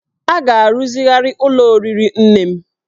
A ga-arụzigharị ụlọ oriri nne m